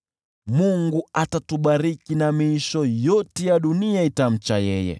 Mungu atatubariki na miisho yote ya dunia itamcha yeye.